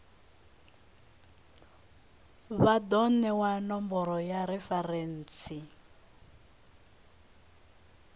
vha do newa nomboro ya referentsi